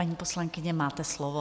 Paní poslankyně, máte slovo.